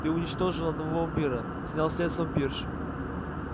ты уничтожил одного вампира снял след с вампирши